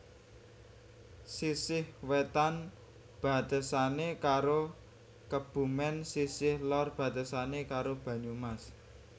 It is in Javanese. Sisih wetan batesane karo Kebumen sisih lor batesane karo Banyumas